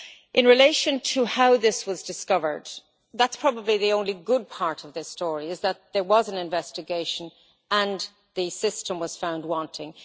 In relation to how this was discovered, probably the only good part of this story is that there was an investigation and the system was found wanting.